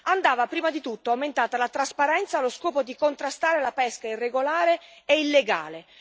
Andava, prima di tutto, aumentata la trasparenza allo scopo di contrastare la pesca irregolare e illegale.